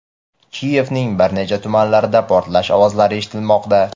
Kiyevning bir necha tumanlarida portlash ovozlari eshitilmoqda.